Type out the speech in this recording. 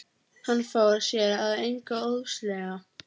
Hann fór sér að engu óðslega.